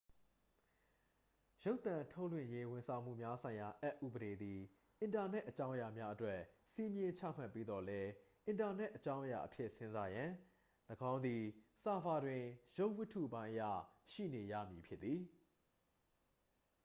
ရုပ်သံထုတ်လွှင့်ရေးဝန်ဆောင်မှုများဆိုင်ရာအက်ဥပဒေသည် အင်တာနက်အကြောင်းအရာများအတွက် စည်းမျဉ်းချမှတ်ပေးသော်လည်း အင်တာနက်အကြောင်းအရာအဖြစ်စဉ်းစားရန် ၎င်းသည် ဆာဗာတွင် ရုပ်ဝတ္ထုပိုင်းအရ ရှိနေရမည် ဖြစ်သည်